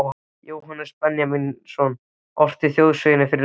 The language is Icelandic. Jóhannes Benjamínsson orti þjóðsöng fyrir félagið